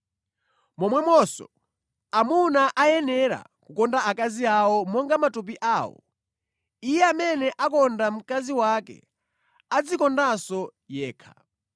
Momwemonso, amuna akuyenera kukonda akazi awo monga matupi awo. Iye amene akonda mkazi wake adzikondanso yekha.